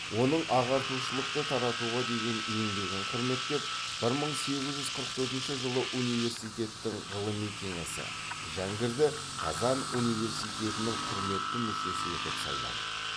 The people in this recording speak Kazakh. оның ағартушылықты таратуға деген еңбегін құрметтеп бір мың сегіз жүз қырық төртінші жылы университеттің ғылыми кеңесі жәңгірді қазан университетінің құрметті мүшесі етіп сайлайды